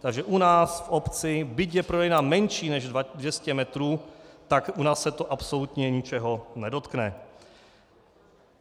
Takže u nás v obci, byť je prodejna menší než 200 metrů, tak u nás se to absolutně ničeho nedotkne.